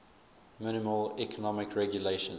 minimal economic regulations